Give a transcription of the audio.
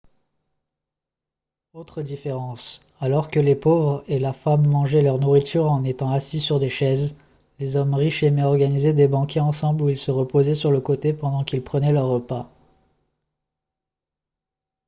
autre différence alors que les pauvres et la femme mangeaient leur nourriture en étant assis sur des chaises les hommes riches aimaient organiser des banquets ensemble où ils se reposaient sur le côté pendant qu'ils prenaient leur repas